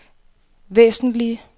væsentlige